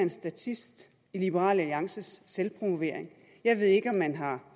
en statist i liberal alliances selvpromovering jeg ved ikke om man har